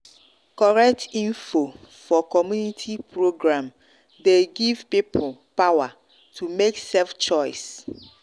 correct info for community program dey give people power to make safe choice.